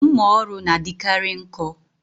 Mmà ọrụ n'adikari nkọ